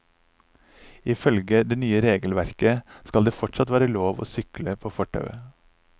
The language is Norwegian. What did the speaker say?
Ifølge det nye regelverket skal det fortsatt være lov til å sykle på fortauet.